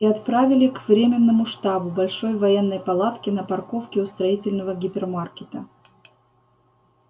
и отправили к временному штабу большой воённой палатке на парковке у строительного гипермаркета